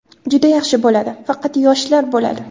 Juda yaxshi bo‘ladi, faqat yoshlar bo‘ladi.